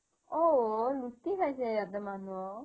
অ লুটি খাইছে সিহতে মানুহক